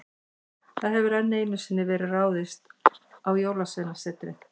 Það hefur enn einu sinni verið ráðist á Jólasveinasetrið.